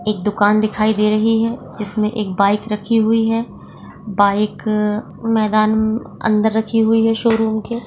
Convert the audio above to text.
एक दुकान दिखाई दे रही है जिसमे एक बाइक रखी हुई है बाइक मैदान मअंदर रखी हुई है शोरूम के